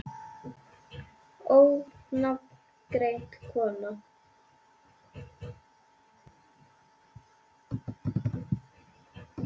Ónafngreind kona: Kemur þetta þér á óvart?